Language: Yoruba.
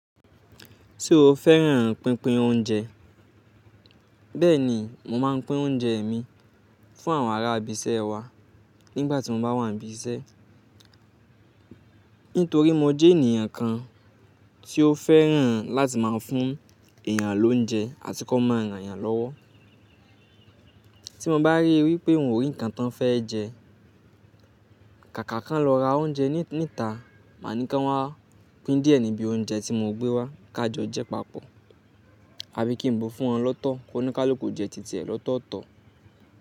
Se o fẹ́ràn pínpín oúnjẹ. Bẹ́ẹ̀ ni mo máa ń pín oúnjẹ mi fún àwọn ará ibi iṣẹ́ wa nígbà tí mo bá wà ní ibi iṣẹ́. Nítorí mo jẹ́ ènìyàn kan tí ó fẹ́ràn láti máa fún èèyàn lóúnjẹ àti kó máa ràn yàn lọ́wọ́. Tí mo bá ríi wí pé òun rí nǹkan tí ó fẹ́ jẹ, kàkà ká lọ ra oúnjẹ níta, màá ní kí wọ́n pín díẹ̀ níbi oúnjẹ tí mo gbé wá ká jọ jẹ papọ̀. Àbí kí n bo fún wọn lọ́tọ̀ kó ní ká lọ kó jẹ títí ẹ̀ lọ́tọ̀ọ̀tọ̀